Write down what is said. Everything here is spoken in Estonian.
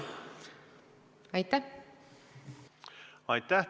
Aitäh!